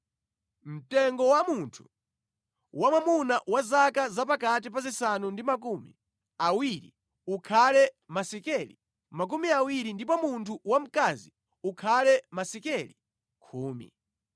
Mtengo wa munthu wamwamuna wa zaka zapakati pa zisanu ndi makumi awiri ukhale masekeli makumi awiri ndipo munthu wamkazi ukhale masekeli khumi.